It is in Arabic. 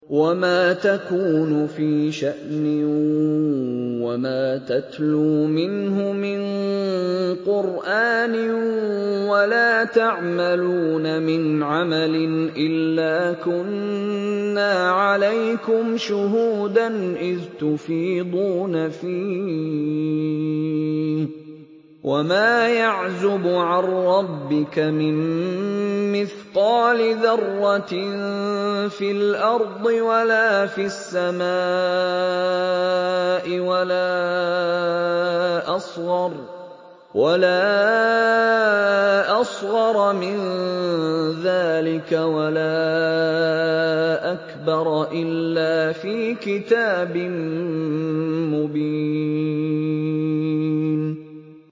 وَمَا تَكُونُ فِي شَأْنٍ وَمَا تَتْلُو مِنْهُ مِن قُرْآنٍ وَلَا تَعْمَلُونَ مِنْ عَمَلٍ إِلَّا كُنَّا عَلَيْكُمْ شُهُودًا إِذْ تُفِيضُونَ فِيهِ ۚ وَمَا يَعْزُبُ عَن رَّبِّكَ مِن مِّثْقَالِ ذَرَّةٍ فِي الْأَرْضِ وَلَا فِي السَّمَاءِ وَلَا أَصْغَرَ مِن ذَٰلِكَ وَلَا أَكْبَرَ إِلَّا فِي كِتَابٍ مُّبِينٍ